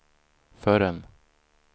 förrän